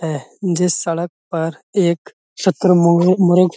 है जिस सड़क पर एक शुतुर्मू मु मुर्ग --